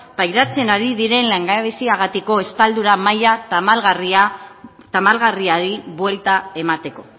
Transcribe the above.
pairatzen ari diren langabeziagatiko estaldura maila tamalgarriari buelta emateko